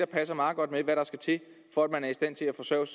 passer meget godt med hvad der skal til for at man er i stand til at forsørge